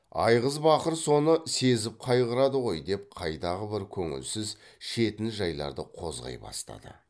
айғыз бақыр соны сезіп қайғырады ғой деп қайдағы бір көңілсіз шетін жайларды қозғай бастады